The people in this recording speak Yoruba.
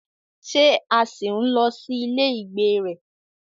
Ṣé a ṣì ń lọ sí ilé ìgbé rẹ?